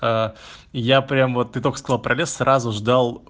а я прямо вот ты только сказал про лес сразу ждал